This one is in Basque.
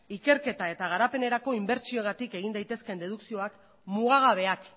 ikerketa eta garenerako inbertsioengatik egin daitezkeen dedukzioak mugagabeak